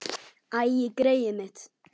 Æi, greyið mitt.